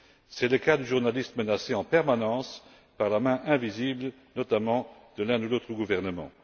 C'est le cas du journaliste menacé en permanence par la main invisible, notamment de l'un ou l'autre gouvernement.